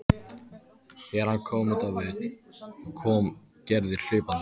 Þegar hann kom út á völl kom Gerður hlaupandi.